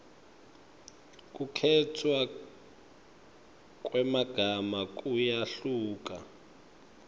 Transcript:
kukhetfwa kwemagama kuyehluka